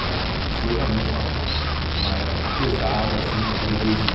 Ela foi realmente uma uma época assim pesada em matéria de